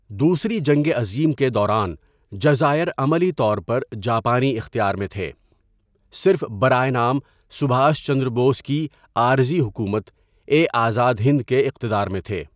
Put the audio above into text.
دوسری جنگ عظیم کے دوران، جزائر عملی طور پر جاپانی اختيار میں تھے، صرف برائے نام سبھاش چندر بوس کی آرزی حکومت اے آزاد ہند کے اِقتَدارمیں تھے۔